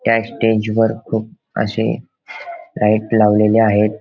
त्या स्टेज वर खूप अशे लाईट लावलेली आहेत.